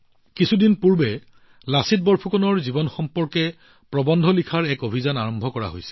কিছুদিন পূৰ্বে লাচিত বৰফুকনৰ জীৱনৰ ওপৰত আধাৰিত প্ৰবন্ধ লিখনিৰ বাবে এটা অভিযান আৰম্ভ কৰা হৈছিল